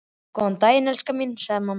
Góðan daginn, elskan mín, sagði mamma.